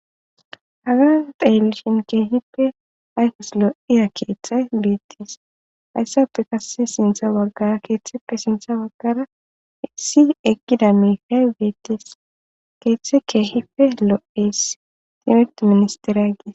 hagan deelishin keehippe ayfus lo'iya keeththay beettis hayssafe kasse sintha waggara keeththeppe sinththa waggara isi eqkida miikay beettis keeththe keehipe lo'is timirtte ministeriya gis.